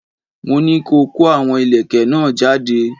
Mo ní ko kó àwọn ìlẹ̀kẹ̀ náà jáde!